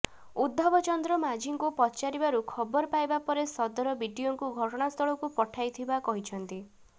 ଉଦ୍ଧବ ଚନ୍ଦ୍ର ମାଝୀଙ୍କୁ ପଚାରିବାରୁ ଖବରପାଇବା ପରେ ସଦର ବିଡିଓଙ୍କୁ ଘଟଣାସ୍ଥଳକୁ ପଠାଇଥିବା କହିଛନ୍ତି